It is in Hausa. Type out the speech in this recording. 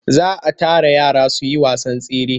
Za a tara yara su yi wasan tsere.